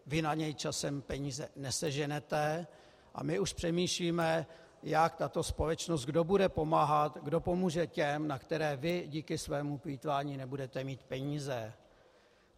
Vy na něj časem peníze neseženete a my už přemýšlíme, jak tato společnost, kdo bude pomáhat, kdo pomůže těm, na které vy díky svému plýtvání nebudete mít peníze.